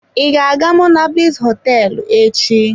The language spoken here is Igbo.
I ga-aga monablis hoteelu echi?